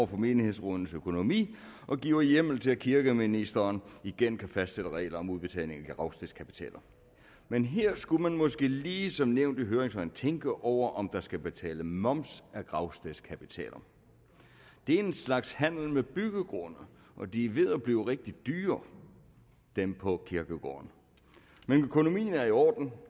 på menighedsrådenes økonomi og giver hjemmel til at kirkeministeren igen kan fastsætte regler om udbetaling af gravstedskapitaler men her skulle man måske lige som nævnt i høringssvarene tænke over om der skal betales moms af gravstedskapitaler det er en slags handel med byggegrunde og de er ved at blive rigtig dyre dem på kirkegårdene men økonomien er i orden